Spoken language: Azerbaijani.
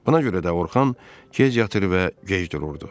Buna görə də Orxan gec yatır və gec dururdu.